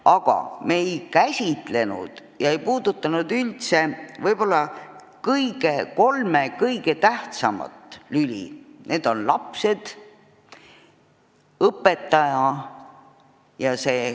Aga me ei käsitlenud, ei puudutanud üldse kolme võib-olla kõige tähtsamat lüli: need on lapsed, õpetaja ja koolimaja.